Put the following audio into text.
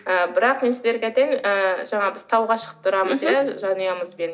ы бірақ мен сіздерге айтайын ы жаңағы біз тауға шығып тұрамыз иә жанұямызбен